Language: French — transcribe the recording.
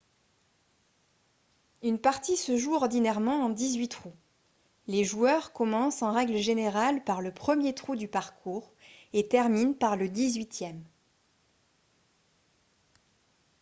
une partie se joue ordinairement en dix-huit trous les joueurs commencent en règle générale par le premier trou du parcours et terminent par le dix-huitième